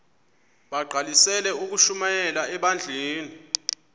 bagqalisele ukushumayela ebandleni